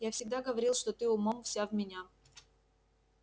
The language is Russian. я всегда говорил что ты умом вся в меня